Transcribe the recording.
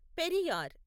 Periyar